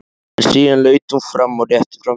En síðan laut hún fram og rétti fram hendurnar.